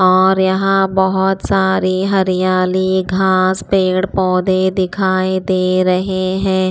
और यहाँ बहुत सारी हरियाली घास पेड़ पौधे दिखाई दे रहे हैं।